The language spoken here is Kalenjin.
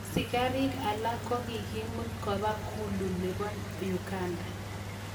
Askarik alak konkikimut kopa Gulu nepo Uganda.